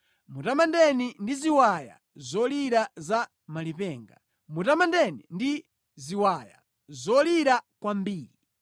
Mutamandeni ndi ziwaya zolira za malipenga, mutamandeni ndi ziwaya zolira kwambiri.